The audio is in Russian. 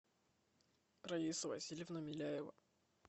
раиса васильевна миляева